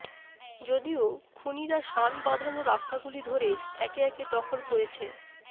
যদিও খুনীরা শানবাঁধানো রাস্তাগুলি ধরে একে একে দখল করেছে